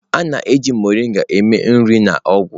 A na-eji mọrịnga eme nri na ọgwụ.